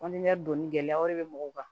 gɛlɛya wɛrɛ bɛ mɔgɔw kan